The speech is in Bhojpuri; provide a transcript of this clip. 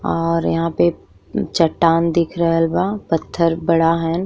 और यहाँ पे चट्टान दिख रहल बा। पत्थर बड़ा हन।